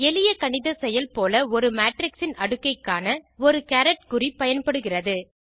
எளிய கணித செயல் போல ஒரு மேட்ரிக்ஸ் இன் அடுக்கைக் காண ஒரு கேரட் குறி பயனாகிறது